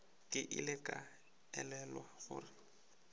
ke ile ka elelwa gore